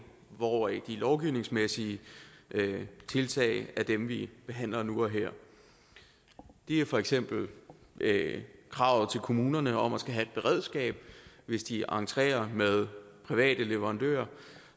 hvor de lovgivningsmæssige tiltag er dem vi behandler nu og her det er for eksempel kravet til kommunerne om at skulle have et beredskab hvis de entrerer med private leverandører